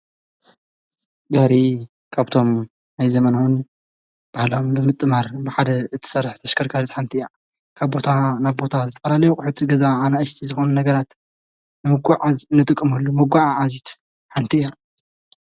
ድሪ ካብቶም ኣይ ዘመናዑን በሃልም ብምጥ ማር መሓደ እቲሠራሕ ተሸከርካድት ሓንቲ እያዕ ካብ ቦታ ናብ ቦታ ዝተራልይ ዂሒቲ ገዛ ኣነ እሽቲ ዝኾኑ ነገራት ንምጕዕዝ ንጥቕምሉ ምጐዓ ዓዚት ሓንቲ እያ።